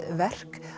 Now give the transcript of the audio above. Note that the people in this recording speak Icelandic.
verk